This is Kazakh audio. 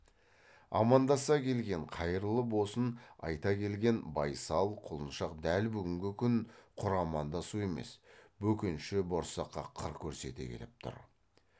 амандаса келген қайырлы босын айта келген байсал құлыншақ дәл бүгінгі күн құр амандасу емес бөкенші борсаққа қыр көрсете келіп тұр